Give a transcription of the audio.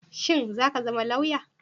Shin zaka zama lauya?